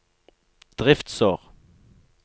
driftsår